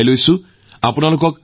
মইও আপোনাৰ লগত কথা পাতি ভাল পাম